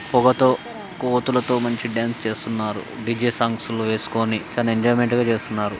పొగతో కోతులతో మంచి డాన్స్ చేస్తున్నారు డి_జె సాంగ్ లు వేసుకొని చానా ఎంజాయ్మెంట్ గా చేస్తున్నారు.